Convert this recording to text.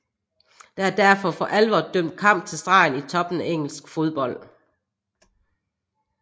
Der er derfor for alvor dømt kamp til stregen i toppen af engelsk fodbold